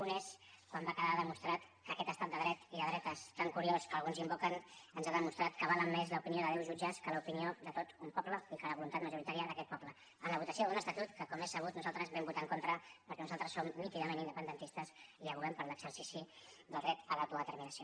un és quan va quedar demostrat que en aquest estat de dret i de dretes tan curiós que alguns invoquen ens ha demostrat que val més l’opinió de deu jutges que l’opinió de tot un poble i que la voluntat majoritària d’aquest poble en la votació d’un estatut que com és sabut nosaltres vam votar en contra perquè nosaltres som nítidament independentistes i advoquem per l’exercici del dret a l’autodeterminació